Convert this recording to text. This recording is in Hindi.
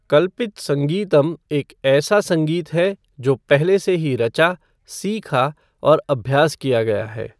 कल्पित संगीतम एक ऐसा संगीत है जो पहले से ही रचा, सीखा और अभ्यास किया गया है।